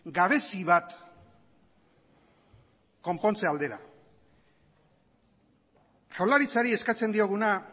gabezi bat konpontze aldera jaurlaritzari eskatzen dioguna